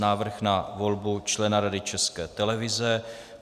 Návrh na volbu člena Rady České televize